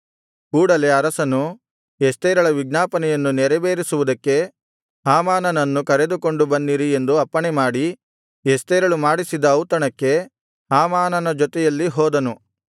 ಕೂಡಲೆ ಅರಸನು ಎಸ್ತೇರಳ ವಿಜ್ಞಾಪನೆಯನ್ನು ನೆರವೇರಿಸುವುದಕ್ಕೆ ಹಾಮಾನನನ್ನು ಕರೆದುಕೊಂಡು ಬನ್ನಿರಿ ಎಂದು ಅಪ್ಪಣೆಮಾಡಿ ಎಸ್ತೇರಳು ಮಾಡಿಸಿದ್ದ ಔತಣಕ್ಕೆ ಹಾಮಾನನ ಜೊತೆಯಲ್ಲಿ ಹೋದನು